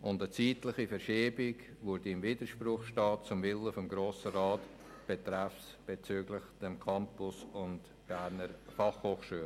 Eine zeitliche Verschiebung würde im Widerspruch zum Willen des Grossen Rats betreffend Campus und BFH stehen.